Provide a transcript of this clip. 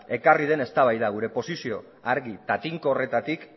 ekarri den eztabaida gure posizioa argi eta tinko horretatik